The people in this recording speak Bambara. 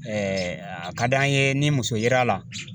a ka d'an ye ni muso yera a la